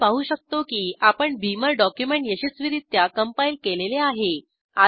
आपण पाहू शकतो की आपण बीमर डॉक्युमेंट यशस्वीरित्या कम्पाइल केलेले आहे